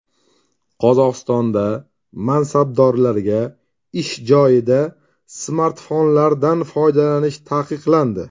Qozog‘istonda mansabdorlarga ish joyida smartfonlardan foydalanish taqiqlandi.